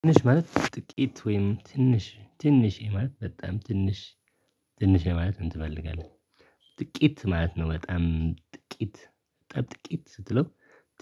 ትንሽ ማለት ጥቂት ወይም ትንሽ ትንሽ ማለት በጣም ትንሽ ትንሽ ማለትን ትፈልጋለህ? ጥቂት ማለት ነው በጣም ጥቂት ጥቂት ስትለው